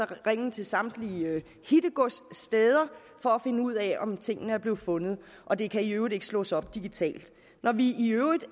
ringe til samtlige hittegodssteder for at finde ud af om den ting er blevet fundet og det kan i øvrigt ikke slås op digitalt når vi